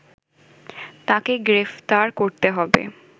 তাকে গ্রেপ্তার করতে হবে